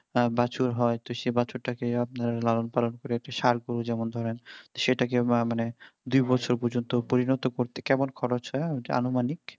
বাছুর হয় তো সে বাছুরটাকে আপনার লালন পালন করে একটা ষাঁড় করেন যেমন ধরেন সেটাকে আবার মানে দুইবছর পর্যন্ত পরিণত করতে কেমন খরচ হয় আনুমানিক